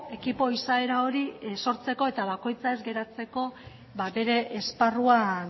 ekipo izaera hori sortzeko eta bakoitza ez geratzeko bere esparruan